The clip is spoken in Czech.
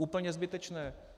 Úplně zbytečné.